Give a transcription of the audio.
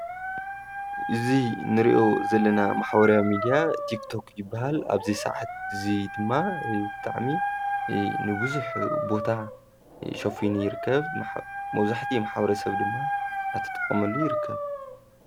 እዙ ንርእዮ ዘለና ማኅወርያ ሚድያ ቲግቶዂ በሃል ኣብዙ ሰዓት እዙይ ድማ ጥዕሚ ንብዙኅ ቦታ ሸፍኑ ይርከብ መውዙሕቲ መሓወረ ሰብ ድማ ኣተጠቖመሉ ይርከብ።